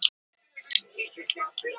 Keflavík hafði lengi verið verslunarstaður.